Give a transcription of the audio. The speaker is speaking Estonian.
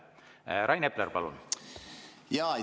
Rain Epler, palun!